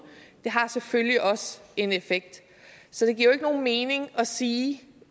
har selvfølgelig også en effekt så det giver jo ikke nogen mening at sige